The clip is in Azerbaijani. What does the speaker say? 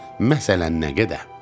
Məsələn nə qədər?